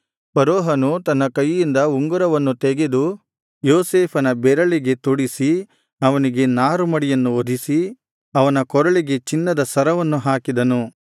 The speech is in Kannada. ಫರೋಹನು ತನ್ನ ಕೈಯಿಂದ ಉಂಗುರವನ್ನು ತೆಗೆದು ಯೋಸೇಫನ ಬೆರಳಿಗೆ ತೊಡಿಸಿ ಅವನಿಗೆ ನಾರುಮಡಿಯನ್ನು ಹೊದಿಸಿ ಅವನ ಕೊರಳಿಗೆ ಚಿನ್ನದ ಸರವನ್ನು ಹಾಕಿದನು